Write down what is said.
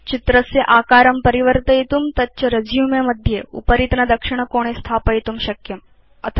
भवान् चित्रस्य आकारं परिवर्तयितुं तच्च रेसुमे मध्ये उपरितनदक्षिणकोणे स्थापयितुं शक्नोति